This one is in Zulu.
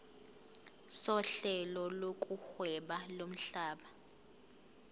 sohlelo lokuhweba lomhlaba